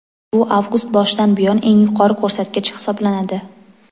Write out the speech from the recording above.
Bu avgust boshidan buyon eng yuqori ko‘rsatkich hisoblanadi.